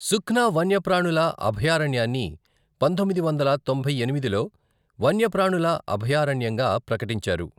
సుఖ్నా వన్యప్రాణుల అభయారణ్యాన్ని పంతొమ్మిది వందల తొంభై ఎనిమిదిలో వన్యప్రాణుల అభయారణ్యంగా ప్రకటించారు.